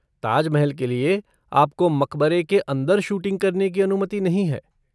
ताज महल के लिए, आपको मकबरे के अंदर शूटिंग करने की अनुमति नहीं है।